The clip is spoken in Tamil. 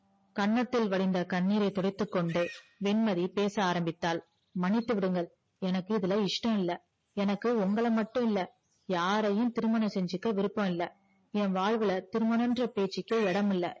கன்னத்தில் வழிந்த கண்ணீரை துடைத்து கொண்டு வெண்மதி பேச ஆரம்பித்தால் மன்னித்து விடுங்கள் எனக்கு இதுல இஷ்டம் இல்ல எனக்கு உங்கள மட்டும் இல்ல யாரையும் திருமணம் செஞ்சிகொள்ள விருப்பம் இல்ல ஏவாழ்வுல திருமணமென்ற பேச்சிக்கே இடமில்ல